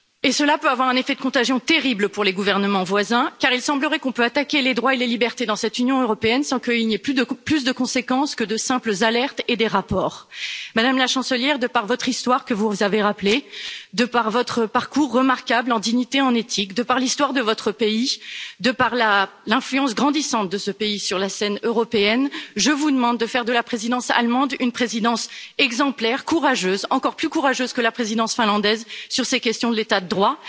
Cela peut avoir un effet de contagion terrible pour les gouvernements voisins car il semblerait que l'on puisse attaquer les droits et les libertés dans cette Union européenne sans qu'il n'y ait plus de conséquences que de simples alertes et des rapports. Madame la Chancelière, de par votre histoire que vous avez rappelée de par votre parcours remarquable en dignité, en éthique, de par l'histoire de votre pays, de par l'influence grandissante de ce pays sur la scène européenne, je vous demande de faire de la présidence allemande une présidence exemplaire, courageuse, encore plus courageuse que la présidence finlandaise sur ces questions de l'état de droit.